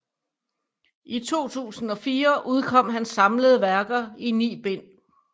I 2004 udkom hans samlede værker i ni bind